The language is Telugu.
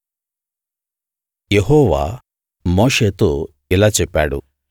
యెహోవా మోషేతో ఇలా చెప్పాడు